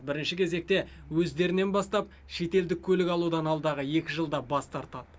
бірінші кезекте өздерінен бастап шетелдік көлік алудан алдағы екі жылда бас тартады